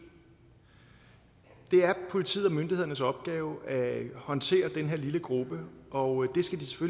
det er politiet og myndighedernes opgave at håndtere den her lille gruppe og